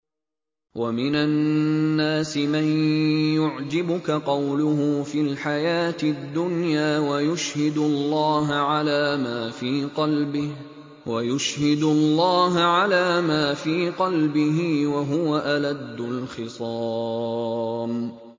وَمِنَ النَّاسِ مَن يُعْجِبُكَ قَوْلُهُ فِي الْحَيَاةِ الدُّنْيَا وَيُشْهِدُ اللَّهَ عَلَىٰ مَا فِي قَلْبِهِ وَهُوَ أَلَدُّ الْخِصَامِ